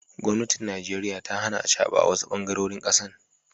gomnatin Najeriya ta Hana acaba awasu bangarorin kasan.